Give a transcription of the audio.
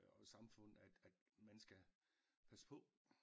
Og samfund at at man skal passe på